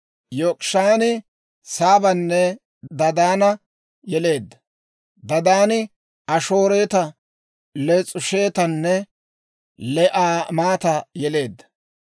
Yok'ishaani Saabanne Dadaana yeleedda. Dadaani Ashooreta, Les'uushetanne Le'aamata yeleedda.